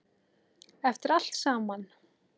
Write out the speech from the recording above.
Eftir allt saman.